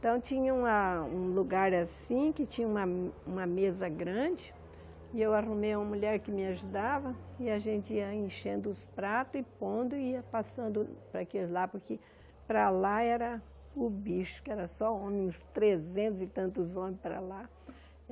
Então, tinha uma um lugar assim, que tinha uma uma mesa grande, e eu arrumei uma mulher que me ajudava, e a gente ia enchendo os pratos e pondo, e ia passando para aquele lá, porque para lá era o bicho, que era só homem, uns trezentos e tantos homens para lá.